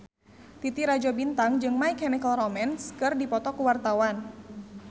Titi Rajo Bintang jeung My Chemical Romance keur dipoto ku wartawan